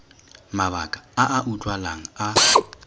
mabaka a a utlwalang a